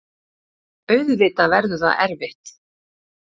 Auðvitað verður það erfitt.